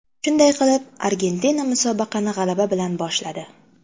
Shunday qilib, Argentina musobaqani g‘alaba bilan boshladi.